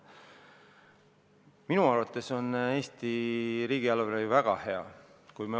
Minu arvates on Eesti riigieelarve väga hea.